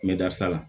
N bɛ dasa la